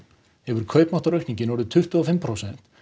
hefur kaupmáttaraukningin orðið tuttugu og fimm prósent